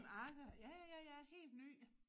Agger ja ja ja ja helt ny